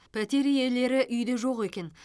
пәтер иелері үйде жоқ екен